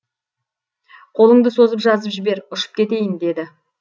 қолыңды созып жазып жібер ұшып кетейін деді